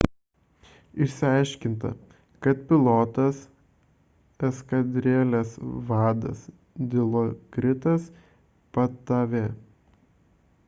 išsiaiškinta kad pilotas – eskadrilės vadas dilokritas pattavee